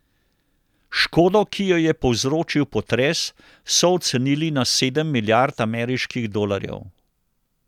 Škodo, ki jo je povzročil potres, so ocenili na sedem milijard ameriških dolarjev.